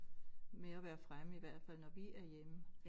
Med at være fremme i hvert fald når vi er hjemme